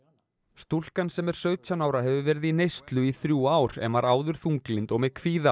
stúlkan sem er sautján ára hefur verið í neyslu í þrjú ár en var áður þunglynd og með kvíða